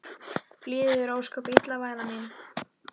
Líður þér ósköp illa væna mín?